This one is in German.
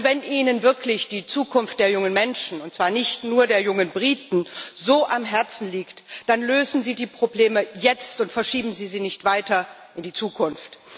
Wenn Ihnen wirklich die Zukunft der jungen Menschen und zwar nicht nur der jungen Briten so am Herzen liegt, dann lösen Sie die Probleme jetzt und verschieben Sie sie nicht weiter in die Zukunft.